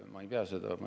Ma ei pea seda õigeks.